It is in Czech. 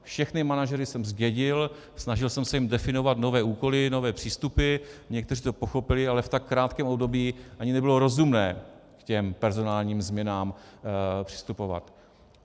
Všechny manažery jsem zdědil, snažil jsem se jim definovat nové úkoly, nové přístupy, někteří to pochopili, ale v tak krátkém období ani nebylo rozumné k těm personálním změnám přistupovat.